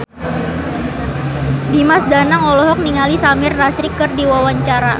Dimas Danang olohok ningali Samir Nasri keur diwawancara